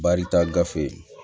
Barita gafe